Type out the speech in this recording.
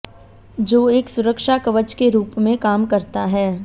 जो एक सुरक्षा कवच के रूप में काम करता है